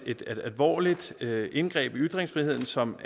et alvorligt indgreb i ytringsfriheden som